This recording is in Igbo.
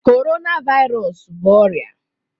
Corona Virus bụ ọrịa